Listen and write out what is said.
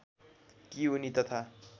कि उनी तथा